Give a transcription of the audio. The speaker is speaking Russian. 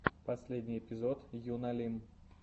последний эпизод юна лим